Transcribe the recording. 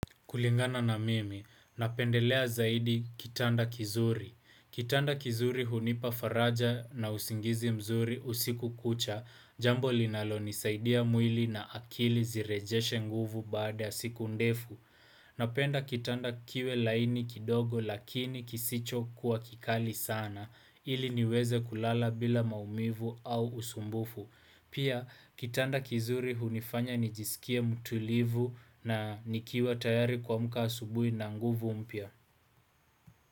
Kulingana na mimi, napendelea zaidi kitanda kizuri. Kitanda kizuri hunipa faraja na usingizi mzuri usiku kucha, jambo linalonisaidia mwili na akili zirejeshe nguvu baada ya siku ndefu. Napenda kitanda kiwe laini kidogo lakini kisichokuwa kikali sana, ili niweze kulala bila maumivu au usumbufu. Pia kitanda kizuri hunifanya nijisikie mtulivu na nikiwa tayari kuamka asubuhi na nguvu mpya.